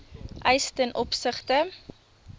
eis ten opsigte